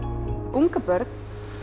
ungabörn